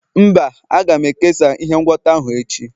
mba, aga m ekesa ihe ngwọta ahụ echi.